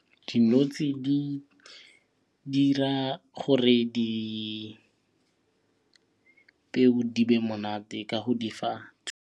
Di notshi di dira gore dipeo di be monate ka go di fa.